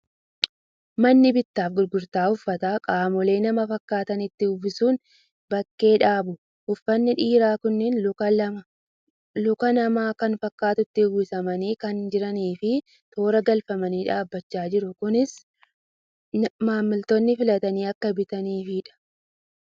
Manni bittaa fi gurgurtaa uffataa qaamolee nama fakkaatanitti uffisuun bakkee dhaabu. Uffanni dhiiraa kunneen luka namaa kan fakkaatutti uwwisamanii kan jiranii fi toora galfamanii dhaabbachaa jiru. Kunis maamiltoonni filatanii akka bitaniifidha.